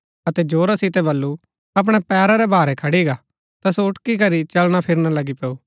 अतै जोरा सितै बल्लू अपणै पैरा रै भारै खड़ी गा ता सो उटकी करी चलना फिरणा लगी पैऊ